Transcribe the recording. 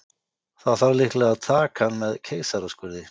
Það þarf líklega að taka hann með keisaraskurði.